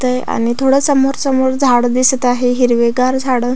तय आणि थोड समोरसमोर झाड दिसत आहे हिरवीगार झाड.